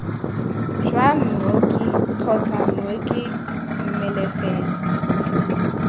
jwa mooki kgotsa mooki mmelegisi